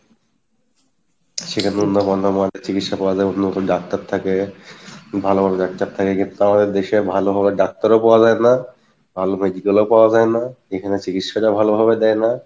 সেখানে চিকিৎসা পাওয়া যাই, উন্নত ডাক্তার থাকে ভালো ভালো ডাক্তার থাকে কিন্তু তাও এ দেশে ভালো ভাবে ডাক্তার ও পাওয়া যায় না, ভালো medical ও পাওয়া যায় না, এখানে চিকিৎসা টা ভালোভাবে দেই না